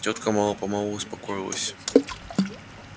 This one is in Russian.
тётка мало-помалу успокоилась